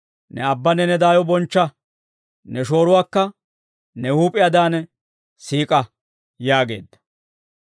ne aabbanne ne daayo bonchcha; ne shooruwaakka ne huup'iyaadaan siik'a» yaageedda.